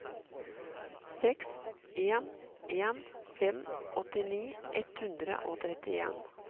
seks en en fem åttini ett hundre og trettien